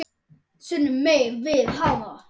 sunnan megin við hana.